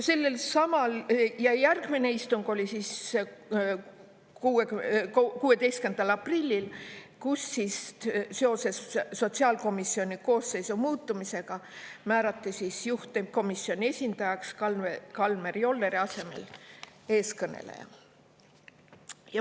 Ja järgmine istung oli 16. aprillil, kus seoses sotsiaalkomisjoni koosseisu muutumisega määrati juhtivkomisjoni esindajaks Kalmer Jolleri asemel eeskõneleja.